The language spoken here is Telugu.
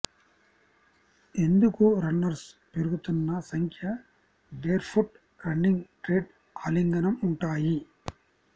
ఎందుకు రన్నర్స్ పెరుగుతున్న సంఖ్య బేర్ఫుట్ రన్నింగ్ ట్రెండ్ ఆలింగనం ఉంటాయి